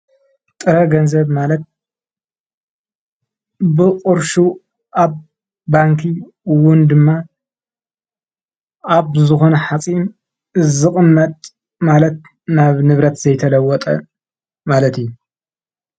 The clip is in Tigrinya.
ጥረ ገንዘት ማለት ብቕርሹ ኣብ ባንኪ ውን ድማ ኣብ ዝኾነ ሓፂን ዝቕመጥ ማለት ናብ ንብረት ዘይተለወጠ ማለት እዩ፡፡